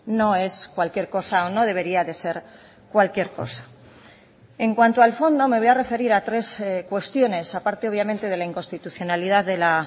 no es cualquier cosa o no debería de ser cualquier cosa en cuanto al fondo me voy a referir a tres cuestiones a parte obviamente de la inconstitucionalidad de la